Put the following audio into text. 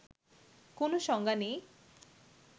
কোনো সংজ্ঞা নেই